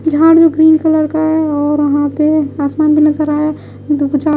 झाड़ू green colour का है और वहां पे आसमान भी नजर आया दूजा --